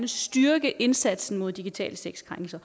styrke indsatsen mod digitale sexkrænkelser